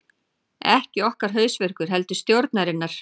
Ekki okkar hausverkur heldur stjórnarinnar